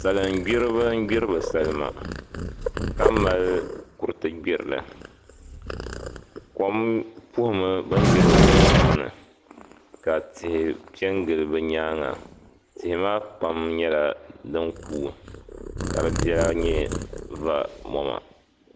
Salim gburiba n gburi bɛ salima ka mali kuriti gburili, kom puhila bɛ ni gburi salima maa shɛli maa, ka tihi pe gili bɛ nyaaŋga tihi maa pam nyɛla din kuui ka di lela mali vɔ' mama.